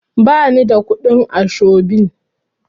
Ba ni da kuɗin ashobin.